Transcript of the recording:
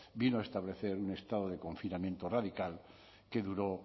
vino a establecer un estado de confinamiento radical que duró